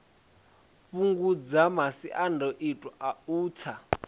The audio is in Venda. fhungudze masiandoitwa a u tsa